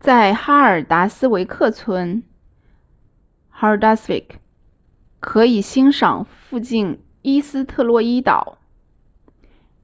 在哈尔达斯维克村 haldarsvík 可以欣赏附近依斯特洛伊岛